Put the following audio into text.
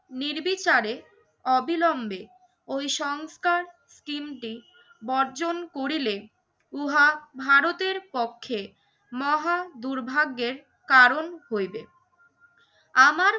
নির্বিচারে অবিলম্বে ওই সংস্কার টিমটি বর্জন করিলে উহা ভারতের পক্ষে মহা দুর্ভাগ্যের কারণ হইবে। আমার